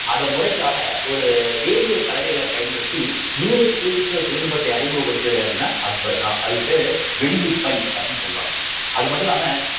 அத முறைக்காக ஒரு வேதியியல் கலவைகளை பயன்படுத்தி நீரை குளிர்விக்கிற தொழில்நுட்பத்தை அறிமுகப்படுத்தியவர் யாடின்னா அக்பர்தான் அதுக்கு பேரு வெடியுப்பை அப்படின்னு சொல்லுவாங்க அது மட்டும் இல்லாம